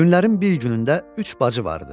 Günlərin bir günündə üç bacı vardı.